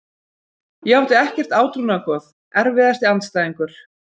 Ég átti ekkert átrúnaðargoð Erfiðasti andstæðingur?